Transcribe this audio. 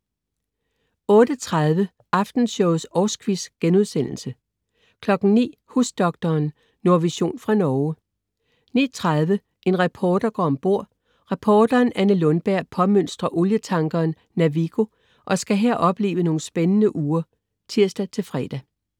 08.30 Aftenshowets årsquiz* 09.00 Husdoktoren. Nordvision fra Norge 09.30 En reporter går ombord. Reporteren Anne Lundberg påmønstrer olietankeren Navigo og skal her opleve nogle spændende uger (tirs-fre)